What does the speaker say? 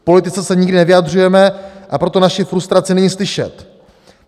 K politice se nikdy nevyjadřujeme, a proto naši frustraci není slyšet.